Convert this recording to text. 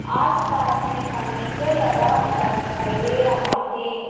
आसपास में फर्नीचर लगा हुआ दिखाई दे रहा है।